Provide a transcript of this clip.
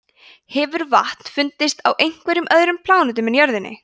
hefur vatn fundist á einhverjum öðrum plánetum en jörðinni